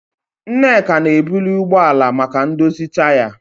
Nneka na-ebuli ụgbọ ala maka ndozi taya.